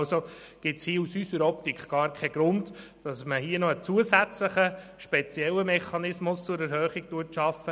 Aus unserer Optik gibt es keinen Grund, hier noch einen zusätzlichen, speziellen Mechanismus zur Erhöhung zu schaffen.